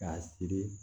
K'a siri